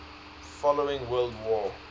following world war